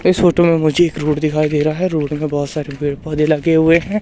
इस फोटो में मुझे एक रोड दिखाई दे रहा है रोड में बहुत सारे पेड़ पौधे लगे हुए हैं।